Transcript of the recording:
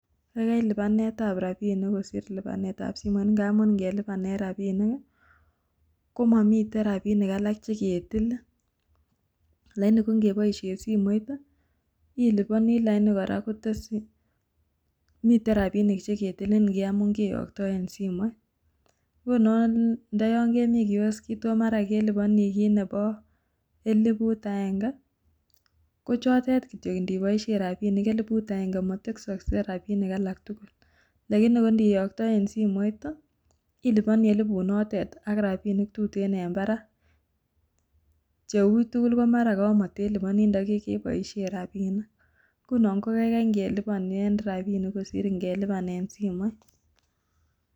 Kaikai lipanet ab rapinik kosir lipanet ab simoit. Ngap ng'elipanen rapinik komomiten rapinik alak cheketilin. Lakini ko ng'epoisien simoit iliponi lakini kora miten rapinik cheketilin ngamun keyoktoen simoit. Ngunon ndo yon kemi kioskit ako mara keliponi kiit nepo elifut ageng'e, kochotet kityok inipoisien elifut ageng'e motesoksei rapinik alak tugul. Lakini ko niyoktoen simoit, iliponi elifut notet ak rapinik tuten en parak. Cheuitugul ko mara komoteliponi ndo koke boisien rapinik. Ngunon ko kaikai ng'elipanen rapinik kosir ng'elipanen simoit.